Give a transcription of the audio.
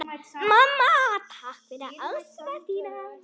Mamma, takk fyrir ást þína.